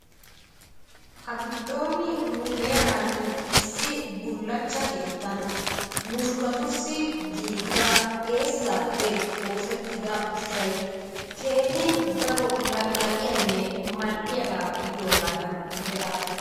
Ha giddon nu heeraan issi bullachcha keettan mushuratussi giigida eessappe oosetidda ushshay keehin daro laqqilaaqiyanne mal''iyaaga gidiyoogadan be''aas.